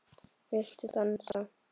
Viltu dansa?